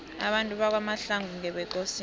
abantu bakwamahlangu ngebekosini